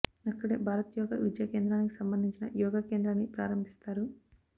అక్కడే భారత్ యోగా విద్యా కేంద్రానికి సంబంధించిన యోగా కేంద్రాన్ని ప్రారంభిస్తారు